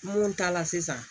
Mun ta la sisan